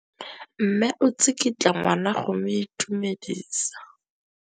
Mme o tsikitla ngwana go mo itumedisa.